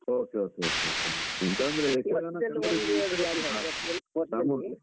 Okay okay okay okay ಹಾ ಎಂತಂದ್ರೆ ಯಕ್ಷಗಾನ .